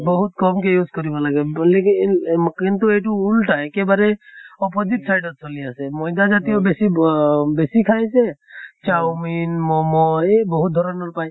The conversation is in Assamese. বহুত কম কে use কৰিব লাগে কিন্তু এইটো উল্টা একেবাৰে opposite side ত চলি আছে। মৈদা জাতিয় ব অহ বেছি খাইছে চাওমিন মʼম এই বহুত ধৰণৰ পায়।